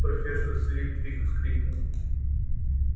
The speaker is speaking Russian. профессор флитвик вскрикнул